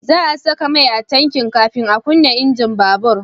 Za a saka mai a tanki kafin a kunna injin babur